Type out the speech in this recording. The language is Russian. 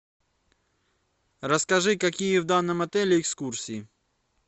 расскажи какие в данном отеле экскурсии